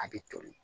A bɛ toli